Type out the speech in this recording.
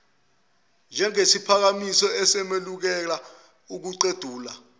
njengesiphakamiso esemukela ukuguqulwa